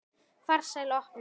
Farsæl opnun.